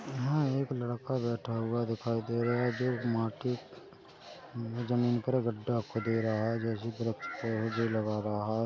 यहाँ एक लड़का बैठा हुआ दिखाई दे रहा है जो मिट्टी जमीन पर गड्डा खोद रहा है जो वृक्ष भी लगा रहा है।